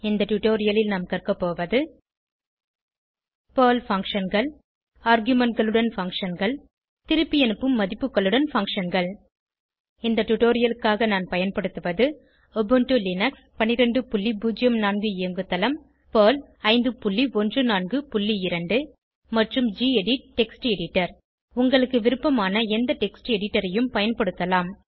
இந்த டுடோரியலில் நாம் கற்கபோவது பெர்ல் functionகள் ஆர்குமென்ட் களுடன் functionகள் திருப்பியனுப்பும் மதிப்புகளுடன் பங்ஷன் கள் இந்த டுடோரியலுக்காக நான் பயன்படுத்துவது உபுண்டு லினக்ஸ் 1204 இயங்குதளம் பெர்ல் 5142 மற்றும் கெடிட் டெக்ஸ்ட் எடிட்டர் உங்களுக்கு விருப்பமான எந்த டெக்ஸ்ட் எடிட்டர் ஐயும் பயன்படுத்தலாம்